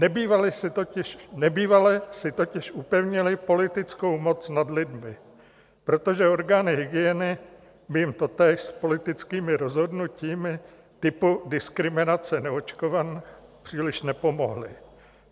Nebývale si totiž upevnili politickou moc nad lidmi, protože orgány hygieny by jim totiž s politickými rozhodnutími typu diskriminace neočkovaných příliš nepomohly.